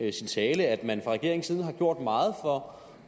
i sin tale at man fra regeringens side har gjort meget for